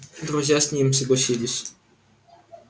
друзья с ним согласились